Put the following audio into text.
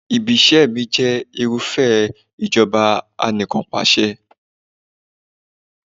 Ibi-iṣẹ́ mi jẹ́ irúfẹ́ ìjọba Anìkanpàṣẹ.